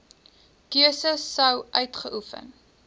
keuse sou uitgeoefen